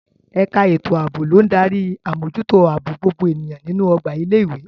Ẹ̀ka ètò ààbò ló ń darí àmójútó ààbò gbogbo ènìyàn nínú ọgbà ilé ìwé.